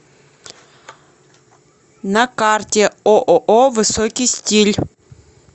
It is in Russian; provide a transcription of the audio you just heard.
на карте ооо высокий стиль